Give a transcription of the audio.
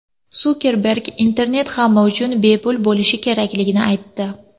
Sukerberg internet hamma uchun bepul bo‘lishi kerakligini aytdi.